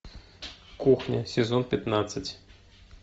кухня сезон пятнадцать